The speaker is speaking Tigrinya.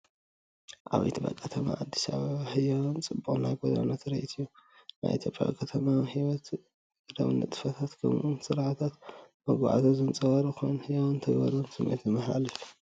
ኣብ ኢትዮጵያ ከተማ ኣዲስ ኣበባ ህያውን ጽዑቕን ናይ ጎደና ትርኢት እዩ። ናይ ኢትዮጵያ ከተማዊ ህይወት፣ ንግዳዊ ንጥፈታት፣ ከምኡ’ውን ስርዓታት መጓዓዝያ ዘንጸባርቕ ኮይኑ፡ ህያውን ተግባራውን ስምዒት ዘመሓላልፍ እዩ።